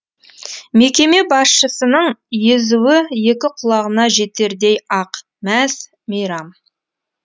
мекеме басшысының езуі екі құлағына жетердей ақ мәз мейрам